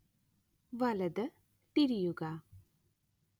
വലത് തിരിയുക